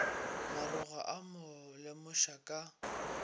maroga a mo lemoša ka